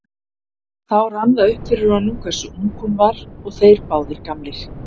Þá rann það upp fyrir honum hversu ung hún var og þeir báðir gamlir.